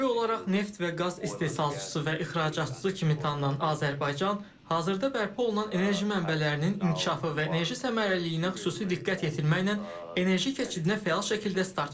Ənənəvi olaraq neft və qaz istehsalçısı və ixracatçısı kimi tanınan Azərbaycan, hazırda bərpa olunan enerji mənbələrinin inkişafı və enerji səmərəliliyinə xüsusi diqqət yetirməklə enerji keçidinə fəal şəkildə start verib.